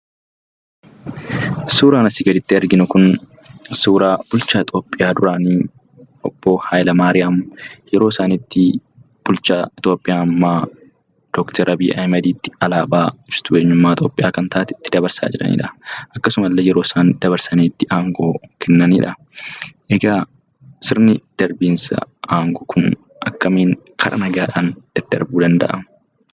Suuraan asii gaditti arginu kun suuraa bulchaa Itoophiyaa duraanii, obbo Haayilemaariyaam, yeroo isaan itti bulchaa Itoophiyaa ammaa Doktor Abiy Ahmeditti alaabaa ibsituu Itoophiyummaa kan taate itti dabarsaa jiranidha. Akkasumallee yeroo isaan dabarsanii aangoo itti kennanidha. Egaa sirni darbinsaa aangoo kun akkamiin kara nagaadhaan daddarbuu danda'a?